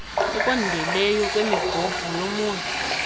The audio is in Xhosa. okondeleyo kwemibhobho yomoya